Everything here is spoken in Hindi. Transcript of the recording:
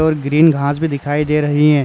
और ग्रीन घास भी दिखाई दे रही है।